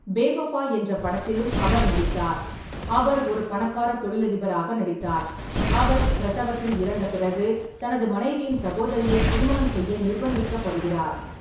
பேவஃபா என்ற படத்திலும் அவர் நடித்தார், அவர் ஒரு பணக்கார தொழிலதிபராக நடித்தார், அவர் பிரசவத்தில் இறந்த பிறகு தனது மனைவியின் சகோதரியை திருமணம் செய்ய நிர்பந்திக்கப்படுகிறார்.